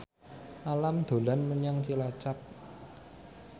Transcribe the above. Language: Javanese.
Alam dolan menyang Cilacap